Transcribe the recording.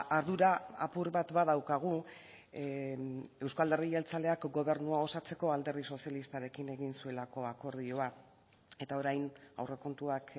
ardura apur bat badaukagu euzko alderdi jeltzaleak gobernua osatzeko alderdi sozialistarekin egin zuelako akordioa eta orain aurrekontuak